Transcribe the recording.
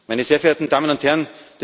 meine sehr verehrten Damen und Herren,